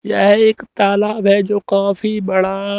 यह एक तालाब है जो काफी बड़ा--